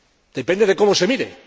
Depende de cómo se mire.